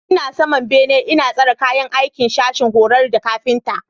Ina saman bene ina tsara kayan aikin sashin horar da kafinta.